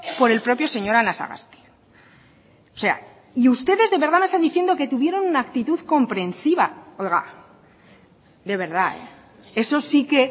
por el propio señor anasagasti o sea y ustedes de verdad me están diciendo que tuvieron una actitud comprensiva oiga de verdad eso sí que